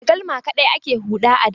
Da galma kaɗai ake huɗa a da.